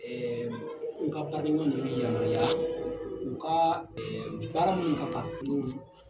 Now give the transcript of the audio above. n ka badenma nunnu yirar'i la. U kaa baara min nana kulun f